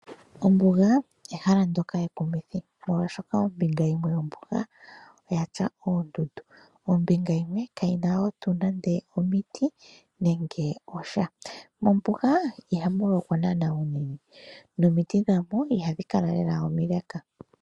Ombuga ehala ndyoka ekumithi, oshoka ombinga yimwe yombuga oya tya oondundu nombinga yimwe kayi na ootu nande omiti nando osha . Mombuga ihamu lokwa naana uunene nomiti dha mo ihadhi kala lela omile.